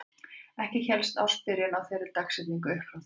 Ekki hélst ársbyrjun á þeirri dagsetningu upp frá því.